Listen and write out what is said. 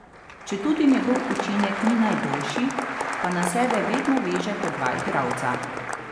Četudi njegov učinek ni najboljši, pa na sebe vedno veže po dva igralca.